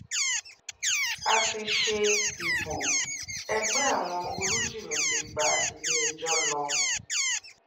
a ti ṣe ìbò ẹgbẹ́ àwọn olùjìmì ti gba ilé-ẹjọ́ lọ